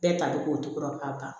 Bɛɛ ta bɛ k'o cogo ban